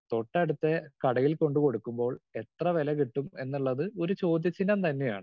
Speaker 2 തൊട്ടടുത്ത കടയിൽ കൊണ്ട് കൊടുക്കുമ്പോൾ എത്ര വില കിട്ടും എന്നുള്ളത് ഒരു ചോദ്യചിഹ്നം തന്നെയാണ്.